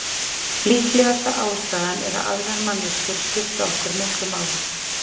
Líklegasta ástæðan er að aðrar manneskjur skipta okkur miklu máli.